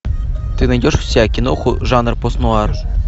ты найдешь у себя киноху жанр пост нуар